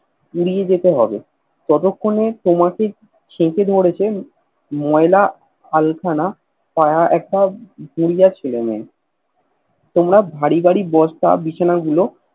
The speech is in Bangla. নিয়ে যেতে হবে ততক্ষণে তোমাকে কঝয়েকে ধরেছে ময়লা আল খানা একটা গুড়িয়া ছেলে মেয়ে তোমরা বাড়ি বাড়ি বসত বিছানা গুলো